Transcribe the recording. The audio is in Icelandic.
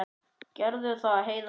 Gerðu það, Heiða mín.